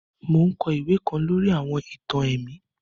Mo n kọ iwe kan lori àwọn ìtàn ẹ̀mí